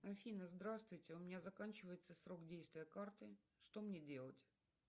афина здравствуйте у меня заканчивается срок действия карты что мне делать